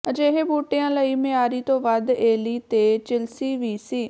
ਅਜਿਹੇ ਬੂਟਿਆਂ ਲਈ ਮਿਆਰੀ ਤੋਂ ਵੱਧ ਏਲੀ ਤੇ ਚਿਲਸੀ ਵੀ ਸੀ